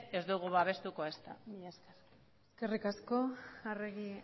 ez ditugu babestuko ezta mila esker eskerrik asko arregi